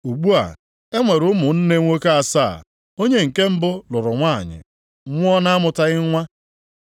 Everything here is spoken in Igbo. Ugbu a, e nwere ụmụnne nwoke asaa, onye nke mbụ lụrụ nwanyị, nwụọ na-amụtaghị nwa.